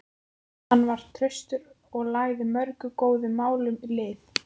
Hann var traustur og lagði mörgum góðum málum lið.